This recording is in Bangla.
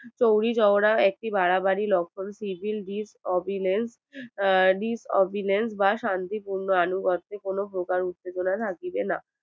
চৌরি চৌরা একটি বারবারই লক্ষন Sivil miss obilence miss obilence বা শান্তিপূর্ন আনুগত্বে কোনো প্রকার উত্তেজনা রাখিবে না